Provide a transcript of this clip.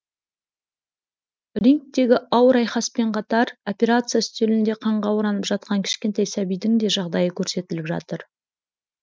рингтегі ауыр айқаспен қатар операция үстелінде қанға оранып жатқан кішкентай сәбидің де жағдайы көрсетіліп жатыр